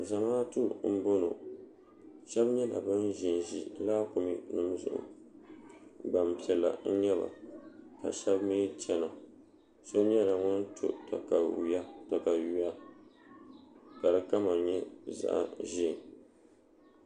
zamaatu n boŋo shab nyɛla bin ʒinʒi laakumi nim zuɣu gbanpiɛla n nyɛba ka shab mii chɛna so nyɛla ŋun to katawiya ka di kama nyɛ zaɣ ʒiɛ